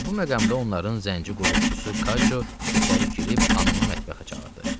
Elə bu məqamda onların zənci qulluqçusu Kajo içəri girib xanımı mətbəxə çağırdı.